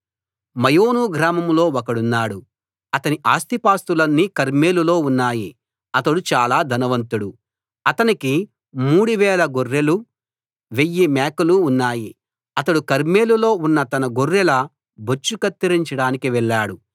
మాయోను గ్రామంలో ఒకడున్నాడు అతని ఆస్తిపాస్తులన్నీ కర్మెలులో ఉన్నాయి అతడు చాలా ధనవంతుడు అతనికి మూడువేల గొర్రెలు వెయ్యి మేకలు ఉన్నాయి అతడు కర్మెలులో తన గొర్రెల బొచ్చు కత్తిరించడానికి వెళ్ళాడు